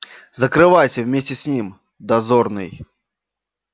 закрывайся вместе с ним дозорный